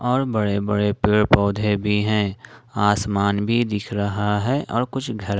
और बड़े-बड़े पेड़-पौधे भी हैं आसमान भी दिख रहा है और कुछ घर --